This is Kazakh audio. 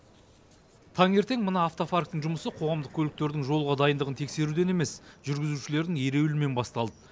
таңертең мына автопарктың жұмысы қоғамдық көліктердің жолға дайындығын тексеруден емес жүргізушілердің ереуілімен басталды